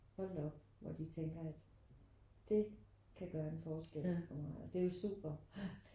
Hold da op hvor de tænker at dét kan gøre en forskel for mig og det er jo super